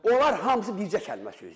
Onlar hamısı bircə kəlmə söz deyir.